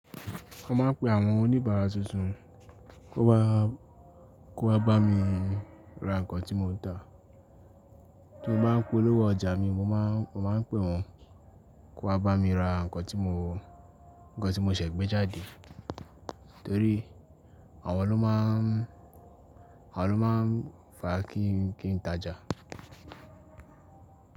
Mo máa ń pe àwọn oníbàárà tuntun kó wá bá mi ra nǹkan tí mo ń tà. Tí mo bá ń pe olówó ọjà mi, mo máa ń pè wọ́n kón wa bá mi ra nǹkan tí mo ṣẹ̀ gbé jáde. Torí àwọn lọ́ máa ń fàa kí n tàjà.